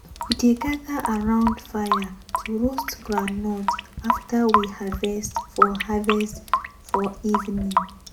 we dey gather around fire to roast groundnut after we harvest for harvest for evening.